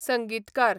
संगीतकार